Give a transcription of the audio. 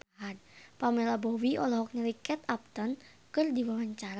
Pamela Bowie olohok ningali Kate Upton keur diwawancara